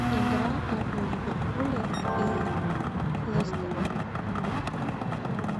игра апл ливерпуля и лестера